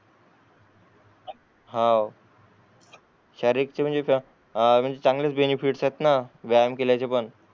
हाव शारीरिक चे म्हणजे या चांगलेच बेनिफिट्स आहेत ना व्यायाम केल्याचे पण